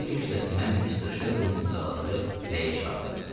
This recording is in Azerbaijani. Heyli kisəsindən Mister Şelbinin imzaladığı rəyi çıxartdı.